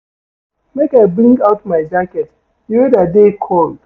Make I bring out my jacket, di weather dey cold.